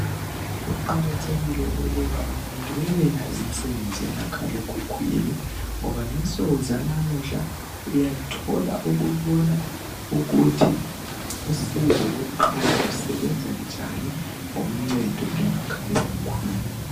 Kuqakathekile ukuba abantu bebeyazi imsebenzi yemakhala ekhukhwini ngoba ngensuku zanamuhla uyathola ukubona ukuthi usizo lokuqala lusebenza njani ngoncedo lomakhala ekhukhwini.